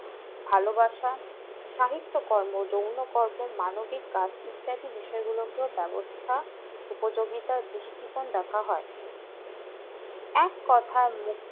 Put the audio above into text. ভালোবাসা সাহিত্যকর্ম যৌনকর্ম মানবিক কাজ ইত্যাদি হিসাবে ব্যবস্থা উপযোগিতা বিস্তারিত দেখা যায় এক কথায়